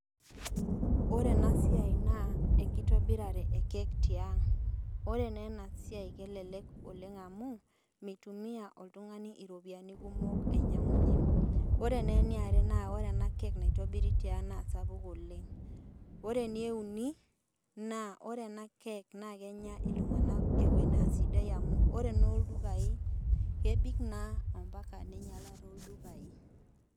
Ore enasiai na enkitobiraki ekeki tiang ore na enasiai kelelek oleng amu mitumia na oltungani ropiyani kumok ainyangunye ore na eniare na keki naitobiri tiang na sapuk oleng ore eneuni ore enakeki kenya ltunganak eo esidai amu enoldukai kebik na ambaka ninyala toldukai.